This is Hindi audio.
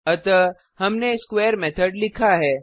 अतः हमने स्क्वेयर मेथड लिखा है